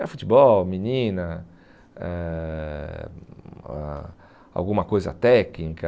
Era futebol, menina, eh ah alguma coisa técnica.